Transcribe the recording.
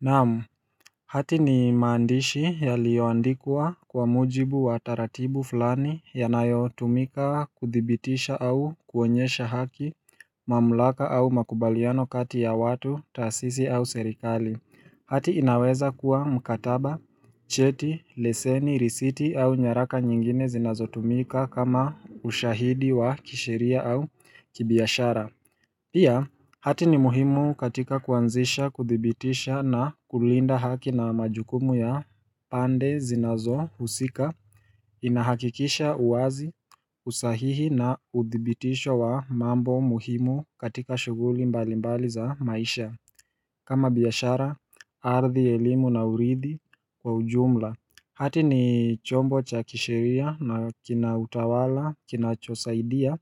Naam, hati ni maandishi yaliyoandikwa kwa muujibu wa taratibu fulani yanayo tumika kuthibitisha au kuonyesha haki mamlaka au makubaliano kati ya watu tasisi au serikali Hati inaweza kuwa mkataba, cheti, leseni, risiti au nyaraka nyingine zinazo tumika kama ushahidi wa kisheria au kibiashara Pia hati ni muhimu katika kuanzisha kuthibitisha na kulinda haki na majukumu ya pande zinazohusika Inahakikisha uwazi usahihi na udhibitisho wa mambo muhimu katika shuguli mbalimbali za maisha kama biashara ardhi elimu na uridhi kwa ujumla Hati ni chombo cha kisheria na kina utawala kinachosaidia